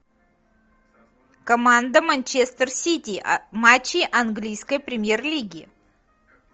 команда манчестер сити матчи английской премьер лиги